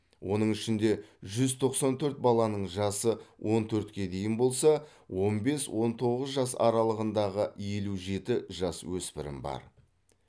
оның ішінде жүз тоқсан төрт баланың жасы он төртке дейін болса он бес он тоғыз жас аралығындағы елу жеті жасөспірім бар